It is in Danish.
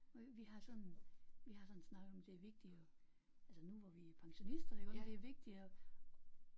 Vi har sådan vi har sådan snakket om det er vigtigt at altså nu hvor vi er pensionister iggå det er vigtigt at